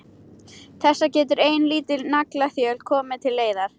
Þessu getur ein lítil naglaþjöl komið til leiðar.